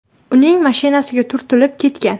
uning mashinasiga turtilib ketgan.